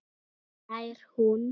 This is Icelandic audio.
hlær hún.